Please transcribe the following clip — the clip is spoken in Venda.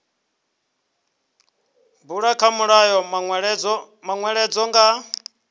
bulwa kha mulayo manweledzo nga